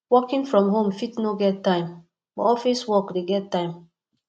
working from home fit no get time but office work de get time